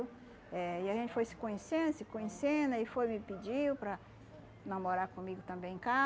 Eh e a gente foi se conhecendo, se conhecendo, aí foi me pediu para namorar comigo também em